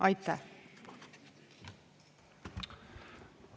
Aitäh!